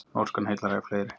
Norskan heillar æ fleiri